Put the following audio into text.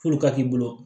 Furu ka k'i bolo